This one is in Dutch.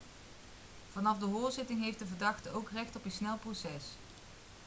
vanaf de hoorzitting heeft de verdachte ook recht op een snel proces